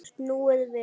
Snúið við.